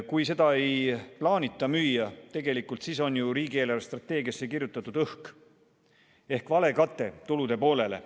Kui seda ei plaanita müüa, siis tegelikult on ju riigi eelarvestrateegiasse kirjutatud õhk ehk vale kate tulude poolele.